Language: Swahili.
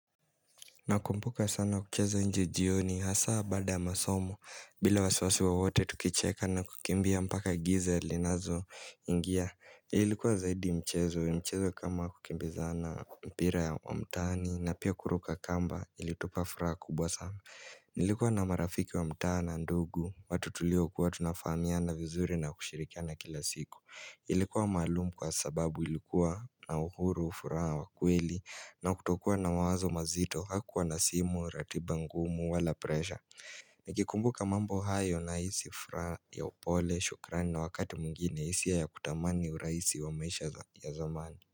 Nakumbuka sana kucheza nje jioni hasa baada ya masomo bila wasiwasi wowote tukicheka na kukimbia mpaka giza linazoingia. Ilikuwa zaidi mchezo. Mchezo kama kukimbizana, mpira wa mtaani na pia kuruka kamba ilitupa furaha kubwa sana. Nilikuwa na marafiki wa mtaa na ndugu watu tulio kuwa tunafamiana vizuri na kushirikiana kila siku. Ilikuwa maalum kwa sababu ilikuwa na uhuru, furaha wa kweli na kutokuwa na mawazo mazito hakukuwa na simu, ratiba ngumu, wala presha Nikikumbuka mambo hayo nahisi furaha ya upole shukrani na wakati mwingine hisia ya ya kutamani urahisi wa maisha ya zamani.